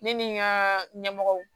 Ne ni n ka ɲɛmɔgɔw